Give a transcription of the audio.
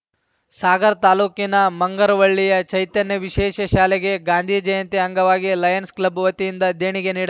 ಸಾಗರ ತಾಲೂಕಿನ ಮುಂಗರವಳ್ಳಿಯ ಚೈತನ್ಯ ವಿಶೇಷ ಶಾಲೆಗೆ ಗಾಂಧಿ ಜಯಂತಿ ಅಂಗವಾಗಿ ಲಯನ್ಸ್‌ ಕ್ಲಬ್‌ ವತಿಯಿಂದ ದೇಣಿಗೆ ನೀಡಲಾ